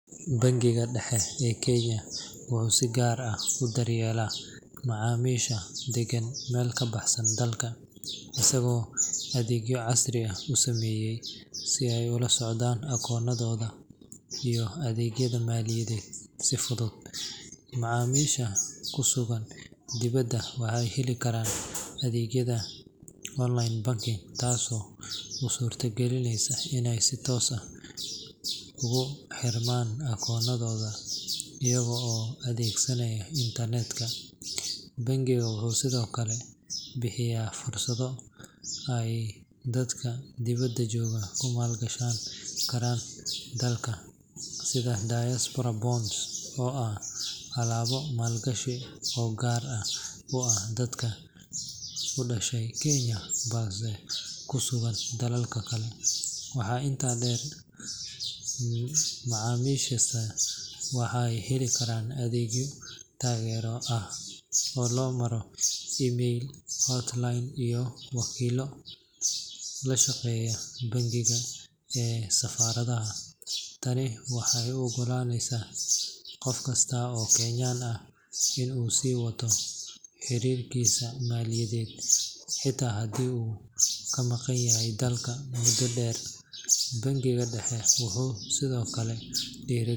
Bangiga Dhexe ee Kenya wuxuu si gaar ah u daryeelaa macaamiisha degan meel ka baxsan dalka, isagoo adeegyo casri ah u sameeyay si ay ula socdaan akoonadooda iyo adeegyada maaliyadeed si fudud. Macaamiisha ku sugan dibadda waxay heli karaan adeegyada online banking, taasoo u suurta galinaysa inay si toos ah ugu xirmaan akoonadooda iyaga oo adeegsanaya internet-ka. Bangigu wuxuu sidoo kale bixiyaa fursado ay dadka dibadda jooga ku maalgashan karaan dalka, sida diaspora bonds oo ah alaabo maalgashi oo gaar u ah dadka u dhashay Kenya balse ku sugan dalal kale. Waxaa intaa dheer, macaamiishaas waxay heli karaan adeegyo taageero ah oo loo maro email, hotline, iyo wakiillo la shaqeeya bangiga ee safaaradaha. Tani waxay u oggolaanaysaa qof kasta oo Kenyaan ah in uu sii wato xiriirkiisa maaliyadeed xitaa haddii uu ka maqanyahay dalka muddo dheer. Bangiga Dhexe wuxuu sidoo kale dhiirrigeliyaa.